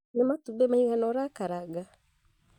Nĩ matumbĩ maigana ũrakaranga?